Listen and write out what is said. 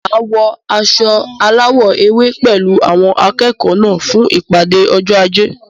Máa wọ aṣọ alawọ ewé pẹlu awọn akẹẹkọ náà fún ìpàdé ọjọ ajé